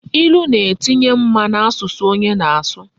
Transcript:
Ilu na etinye mma na asusu onye na asu